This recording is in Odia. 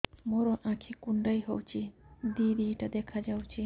ମୋର ଆଖି କୁଣ୍ଡାଇ ହଉଛି ଦିଇଟା ଦିଇଟା ଦେଖା ଯାଉଛି